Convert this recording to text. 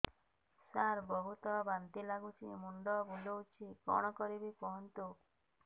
ସାର ବହୁତ ବାନ୍ତି ଲାଗୁଛି ମୁଣ୍ଡ ବୁଲୋଉଛି କଣ କରିବି କୁହନ୍ତୁ